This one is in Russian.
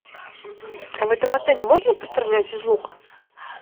в этом отеле можно пострелять из лука